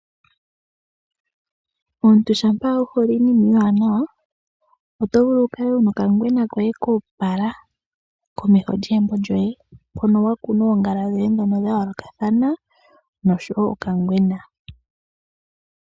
Omuntu shampa wu hole iinima iiwanawa, oto vulu wu kale wuna okangwena koye koopala komeho lyegumbo lyoye hono wa kuna oongala dhoye ndhono dhayoolokathana nosho wo okangwena.